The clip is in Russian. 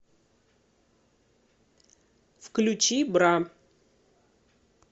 включи бра